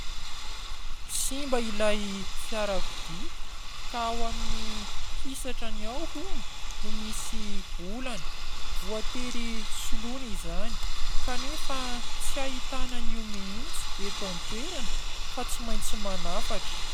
Simba ilay fiarakodia ka ao amin'ny hisatrany ao hono no misy olana. Voatery soloina izany, kanefa tsy ahitana an'io mihitsy eto an-toerana fa tsy maintsy manafatra.